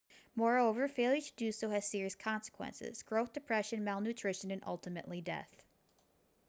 moreover failure to do so has serious consequences growth depression malnutrition and ultimately death